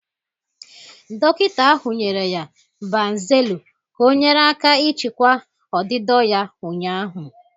Dọkịta ahụ nyere ya Banzelu ka ọnyere aka ịchịkwa ọdịdọ ya ụnyaahụ.